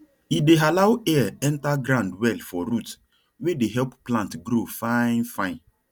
e dey allow air enter ground well for root wey dey help plant grow fine fine